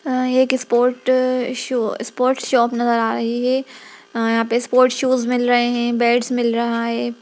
अ एक sport show sport shop नजर आ रही है अ यहां पे स्पोर्ट शूज मिल रहे है बैट्स मिल रहा है।